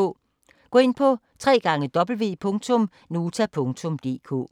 Gå ind på www.nota.dk